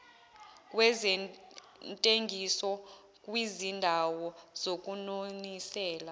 kwezentengiso kwizindawo zokunonisela